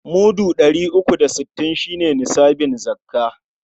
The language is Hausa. Mudu ɗari uku da sittin shi ne nisabin zakka..